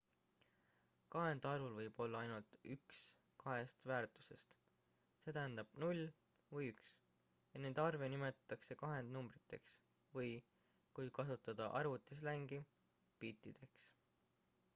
kahendarvul võib olla ainult üks kahest väärtusest st 0 või 1 ja neid arve nimetatakse kahendnumbriteks või kui kasutada arvutislängi bittideks